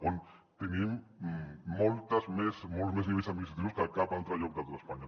on tenim molts més nivells administratius que a cap altre lloc de tot espanya